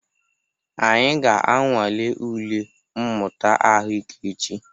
Anyị ga-anwale ule mmụta ahụike echi.